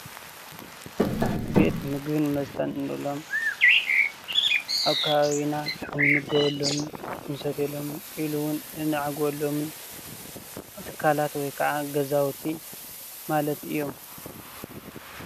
ቤት ምግብን መስተን እንብሎም ኣብ ከባቢና እንምገበሎምን እንሰትየሎምን ኢሎ ውን እናዓግበሎምን ትካላት ወይ ከዓ ገዛውቲ ማለት እዮም፡፡